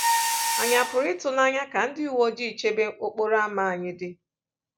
Ànyị a pụrụ ịtụ n'anya ka ndị uwe ojii nchebe okporo ámá anyị dị?